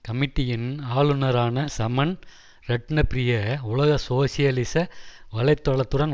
கமிட்டியின் ஆளுனரான சமன் ரட்ணப்ரிய உலக சோசியலிச வலை தளத்துடன்